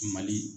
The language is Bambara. Mali